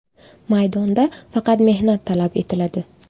Maydonda faqat mehnat talab etiladi.